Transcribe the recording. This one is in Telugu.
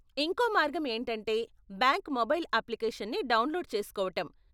ఇంకో మార్గం ఏంటంటే బ్యాంక్ మొబైల్ అప్లికేషన్ని డౌన్లోడ్ చేస్కోవటం.